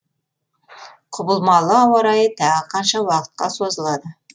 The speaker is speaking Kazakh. құбылмалы ауа райы тағы қанша уақытқа созылады